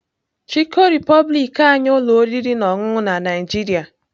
Chikọ Republic anyị ụlọ oriri na ọṅụṅụ na Nigeria.